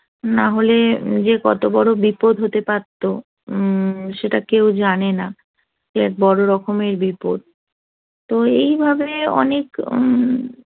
না হলে যে কত বড় বিপদ হতে পারতো হুম সেটা কেউ জানে না এর এক রকমের বিপদ তো